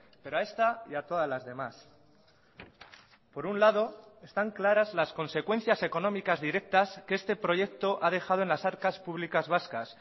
pero a esta y a todas las demás por un lado están claras las consecuencias económicas directas que este proyecto ha dejado en las arcas públicas vascas